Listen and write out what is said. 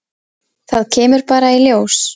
Það kemur bara í ljós.